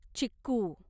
चिक्कू